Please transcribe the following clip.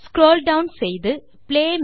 scroll down செய்து play